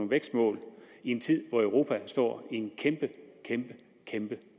vækstmål i en tid hvor europa står i en kæmpe kæmpe kæmpe